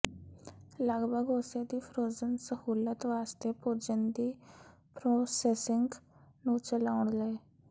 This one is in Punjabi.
ਲਗਭਗ ਉਸੇ ਦੀ ਫ਼੍ਰੋਜ਼ਨ ਸਹੂਲਤ ਵਾਸਤੇ ਭੋਜਨ ਦੀ ਪ੍ਰੋਸੈਸਿੰਗ ਨੂੰ ਚਲਾਉਣ ਲਈ